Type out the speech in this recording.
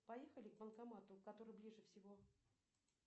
поехали к банкомату который ближе всего